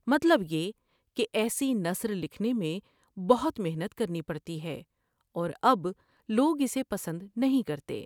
مطلب یہ کہ ایسی نثر لکھنے میں بہت محنت کرنی پڑتی ہے اور اب لوگ اسے پسند نہیں کرتے ۔